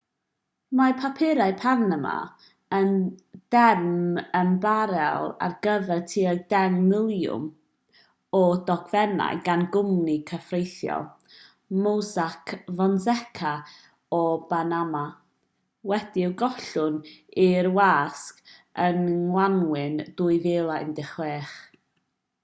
mae papurau panama yn derm ymbarél ar gyfer tua deng miliwn o ddogfennau gan gwmni cyfreithiol mossack fonseca o banama wedi'u gollwng i'r wasg yng ngwanwyn 2016